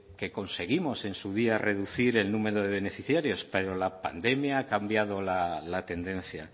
que conseguimos en su día reducir el número de beneficiarios pero la pandemia ha cambiado la tendencia